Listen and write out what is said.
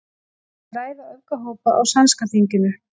Vilja ræða öfgahópa á sænska þinginu